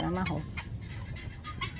Era na roça.